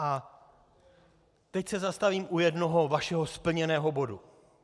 A teď se zastavím u jednoho vašeho splněného bodu.